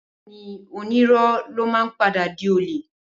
Bẹẹni, ònírò ló mà ń pàdá dí olẹ